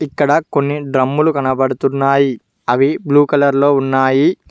ఇక్కడ కొన్ని డ్రమ్ములు కనపడుతున్నాయి అవి బ్లూ కలర్ లో ఉన్నాయి.